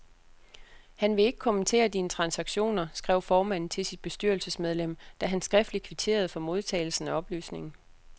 Han vil ikke kommentere dine transaktioner, skrev formanden til sit bestyrelsesmedlem, da han skriftligt kvitterede for modtagelsen af oplysningen.